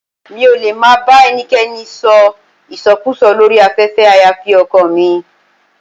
Mi ò lè máa bá ẹnikẹ́ni sọ ìsọkúùsọ lórí afẹ́fẹ́ àyàfi ọkọọ̀ mi.